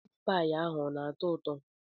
Meatpie ahụ ọ na-atọ ụtọ?